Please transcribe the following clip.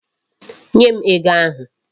Nye m ego ahụ.